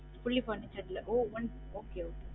Fully furnished இல்ல ஓ one okay